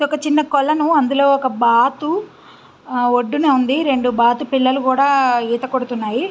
ఒక చిన్న కొలను అందులో ఒక బాతు అ ఒడ్డున ఉన్నది రెండు బాతు పిల్లలు కూడా ఆ ఈత కొడుతున్నాయి.